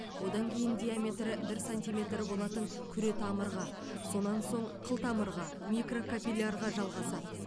одан кейін диаметрі бір сантиметр болатын күретамырға сонан соң қылтамырға микрокапиллярға жалғасады